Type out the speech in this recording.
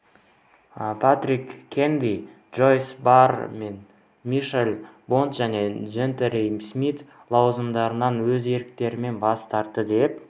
патрик кеннеди джойс барр мен мишель бонд және джентри смит лауазымдарынан өз еріктерімен бас тартты деп